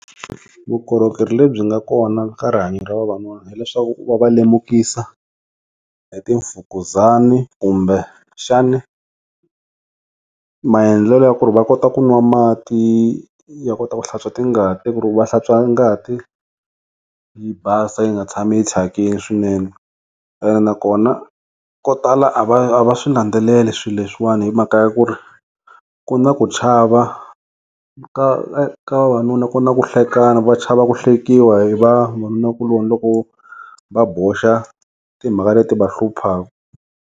Vukorhokeri lebyi nga kona ka rihanyeni ra vavanuna hileswaku va va lemukisa hi timfukuzani kumbe xani maendlelo ya ku ri va kota ku nwa mati ya kota ku hlantswa tingati ku ri va hlantswa ngati yi basa yi nga tshami hi chakile swinene ene nakona ko tala a va a va swi landzeleli swilo leswiwani hi mhaka ya ku ri ku na ku chava ka ka vavanuna ku na ku hlekana va chava ku hlekiwa hi vavanunakuloni loko va boxa timhaka leti va hluphaka.